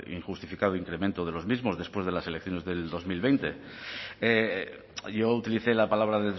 injustificado incremento de los mismos después de las elecciones del dos mil veinte yo utilicé la palabra